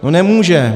No nemůže.